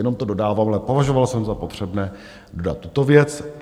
Jenom to dodávám, ale považoval jsem za potřebné dodat tuto věc.